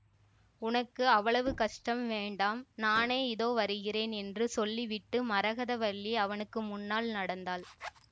உனக்கு அவ்வளவு கஷ்டம் வேண்டாம் நானே இதோ வருகிறேன் என்று சொல்லிவிட்டு மரகதவல்லி அவனுக்கு முன்னால் நடந்தாள்